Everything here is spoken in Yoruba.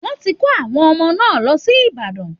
Wọ́n ti kó àwọn ọmọ náà lọ sí Ibadań